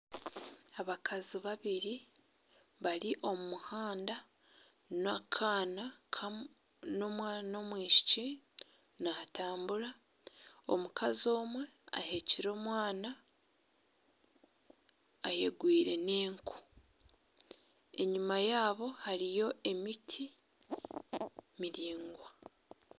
Abakazi babiri bari omumuhanda nana omwana ow'omwishiki natambura omukazi omwe aheekire omwana ayegwire n'enku enyuma yaabo hariyo emiti miraingwa